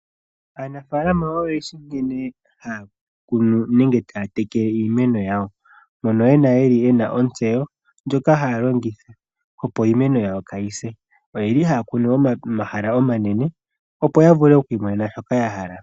Aanafalama oyendji nkene haya kunu nenge taya tekele iimeno yawo. Mono ye na ontseyo ndjoka haya longitha, opo iimeno yawo kayi se. Oye li haya kunu momahala omanene opo ya vule okuimonena shoka ya hala.